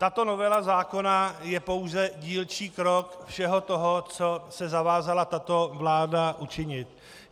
Tato novela zákona je pouze dílčí krok všeho toho, co se zavázala tato vláda učinit.